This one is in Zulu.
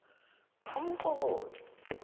umxukuzi